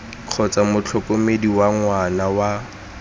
kgotsa motlhokomedi wa ngwana wa